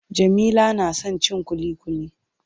Jamila na son cin ƙuliƙuli.